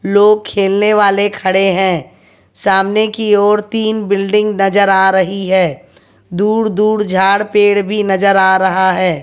लोग खेलने वाले खड़े हैं सामने की ओर तीन बिल्डिंग नजर आ रही है दूर दूर झाड़ पेड़ भी नजर आ रहा है।